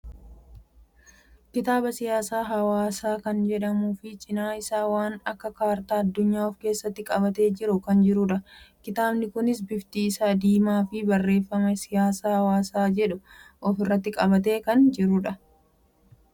Kitaaba siyaasa hawaasa kan jedhuu fi cina isa waan akka Kartaa addunya of keessatti qabate jiru kan jirudha. kitaabni kunis bifti isaa diimaa fi barreeffama siyaasa hawaasa jedhu of irratti qabate kan jirudha.